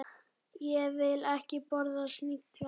Ég vil ekki borða snigla.